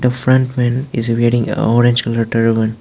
the frontman is wearing a orange colour turban.